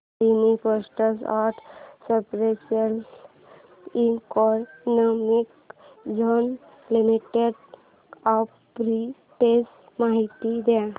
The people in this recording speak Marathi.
Adani ports and special economic zone limited arbitrage माहिती दे